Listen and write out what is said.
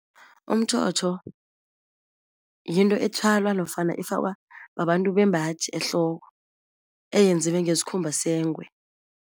Umtjhotjho yinto ethwalwa nofana efakwa babantu bembaji ehloko, eyenziwe ngesikhumba sengwe.